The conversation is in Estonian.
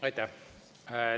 Aitäh!